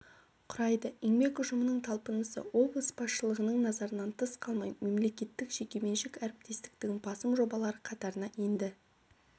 құрайды еңбек ұжымының талпынысы облыс басшылығының назарынан тыс қалмай мемлекеттік-жекеменшік әріптестіктің басым жобалары қатарына енді